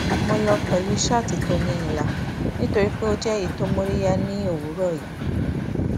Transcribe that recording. mo lọ pẹlú ṣáàtì tó ní ìlà nítorí pé ó jẹ èyí tí ó móríyá ní òwúrọ yìí